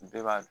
Bɛɛ b'a dɔn